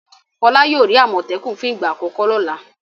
Fọlá yóò rí àmọ̀tẹ́kùn fún ìgbà àkọ́kọ́ lọ́la.